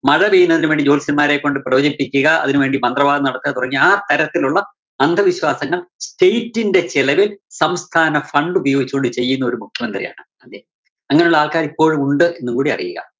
മഴ പെയ്യുന്നതിന് വേണ്ടി ജോത്സ്യന്മാരെക്കൊണ്ട് പ്രവചിപ്പിക്കുക. അതിന് വേണ്ടി മന്ത്രവാദം നടത്തുക തുടങ്ങിയ ആ തരത്തിലുള്ള അന്ധവിശ്വാസങ്ങള്‍ state ന്റെ ചെലവില്‍ സംസ്ഥാന fund ഉപയോഗിച്ചുകൊണ്ട് ചെയ്യുന്നൊരു മുഖ്യമന്ത്രിയാണ് അദ്ദേഹം. അങ്ങനെയുള്ള ആള്‍ക്കാര് ഇപ്പോഴും ഉണ്ട് എന്നുകൂടി അറിയുക.